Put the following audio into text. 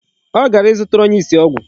Ọ gara ịzụtara onye isi ọgwụ.